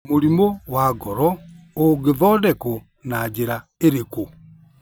Mũrimũ wa ngoró ũngĩthondekwo na njĩra ĩrĩkũ?